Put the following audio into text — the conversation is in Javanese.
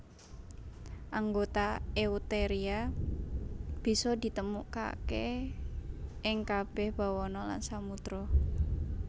Anggota Eutheria bisa ditemokaké ing kabèh bawana lan samudra